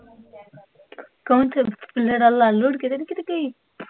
ਕੌਣ ਚਲ, ਕੀਤੇ ਲੜ ਲੁੜ੍ਹ ਕੇ ਤੇ ਨੀ ਕੀਤੇ ਗਈ?